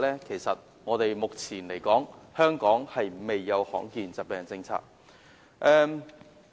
其實，目前香港尚未制訂罕見疾病政策。